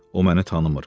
O məni tanımır.